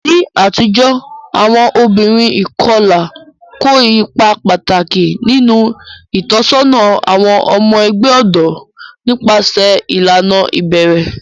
Ní àtijọ́, àwọn obìnrin ìkọlà kó ipa pàtàkì nínú ìtọ́sọ́nà àwọn ọmọ ẹgbẹ́ ọ̀dọ́ nípasẹ̀ ìlànà ìbẹ̀rẹ̀.